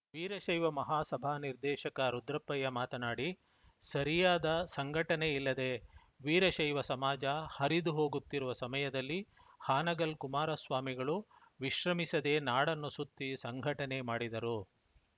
ವೀರಶೈವ ಮಹಾ ಸಭಾ ನಿರ್ದೇಶಕ ರುದ್ರಪ್ಪಯ್ಯ ಮಾತನಾಡಿ ಸರಿಯಾದ ಸಂಘಟನೆ ಇಲ್ಲದೇ ವೀರಶೈವ ಸಮಾಜ ಹರಿದು ಹೋಗುತ್ತಿರುವ ಸಮಯದಲ್ಲಿ ಹಾನಗಲ್‌ ಕುಮಾರ ಸ್ವಾಮಿಗಳು ವಿಶ್ರಮಿಸದೇ ನಾಡನ್ನು ಸುತ್ತಿ ಸಂಘಟನೆ ಮಾಡಿದರು